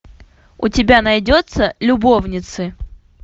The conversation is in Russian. у тебя найдется любовницы